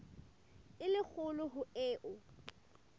e le kgolo ho eo